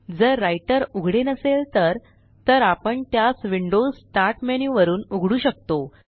जर राइटर उघडे नसेल तर तर आपण त्यास विंडोज स्टार्ट मेन्यू वरुन उघडू शकतो